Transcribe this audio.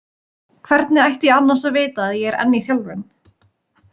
Hvernig ætti ég annars að vita að ég er enn í þjálfun?